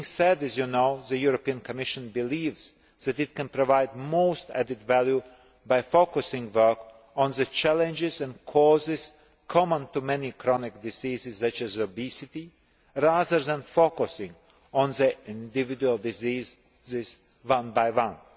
This being said, as you know, the Commission believes that it can provide most added value by focusing work on the challenges and causes common to many chronic diseases such as obesity, rather than focusing on the individual diseases one by one.